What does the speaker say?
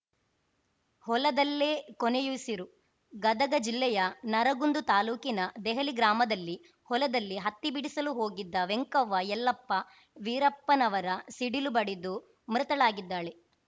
ಹೊಲದಲ್ಲೇ ಕೊನೆಯುಸಿರು ಗದಗ ಜಿಲ್ಲೆಯ ನರಗುಂದ ತಾಲೂಕಿನ ದೆಹಲಿ ಗ್ರಾಮದಲ್ಲಿ ಹೊಲದಲ್ಲಿ ಹತ್ತಿ ಬಿಡಿಸಲು ಹೋಗಿದ್ದ ವೆಂಕವ್ವ ಯಲ್ಲಪ್ಪ ವಿಠಪ್ಪನವರ ಮೂವತ್ತೈದು ಸಿಡಿಲು ಬಡಿದು ಮೃತಳಾಗಿದ್ದಾಳೆ